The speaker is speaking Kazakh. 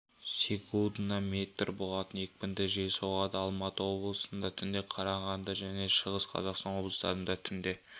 секундына метр болатын екпінді жел соғады алматы облысында түнде қарағанды және шығыс қазақстан облыстарыда түнде